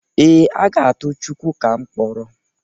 Ee, aga atụ Chukwuka mkpọrọ.